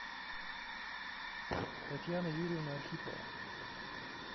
татьяна юрьевна архипова